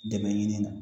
Dɛmɛ ɲini na